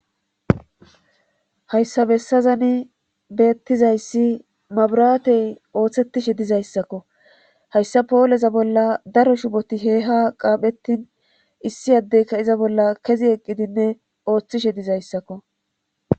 hayssabessazani beettizayssi maburaatey ooththettishe dizayssakko hayssa pooleza bolla daro shuboti heeha qaaphettin issi addeyka iza bolla kezi eqqidinne ooththishe dizayssakko